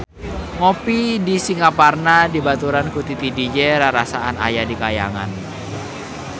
Ngopi di Singaparna dibaturan ku Titi DJ rarasaan aya di kahyangan